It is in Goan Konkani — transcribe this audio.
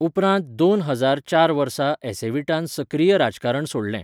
उपरांत दोन हजार चार वर्सा एसेव्हिटान सक्रीय राजकारण सोडलें.